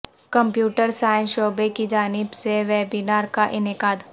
computer science شعبہ کی جانب سے ویبینار کا انعقاد